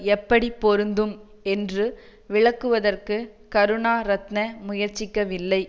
எப்படி பொருந்தும் என்று விளக்குவதற்கு கருணாரத்ன முயற்சிக்கவில்லை